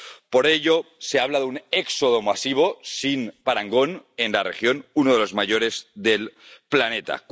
Por ello, se habla de un éxodo masivo, sin parangón, en la región, uno de los mayores del planeta.